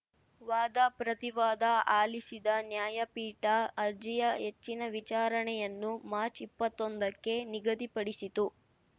ವಾದಪ್ರತಿವಾದ ಆಲಿಸಿದ ನ್ಯಾಯಪೀಠ ಅರ್ಜಿಯ ಹೆಚ್ಚಿನ ವಿಚಾರಣೆಯನ್ನು ಮಾರ್ಚ್ಇಪ್ಪತ್ತೊಂದಕ್ಕೆ ನಿಗದಿಪಡಿಸಿತು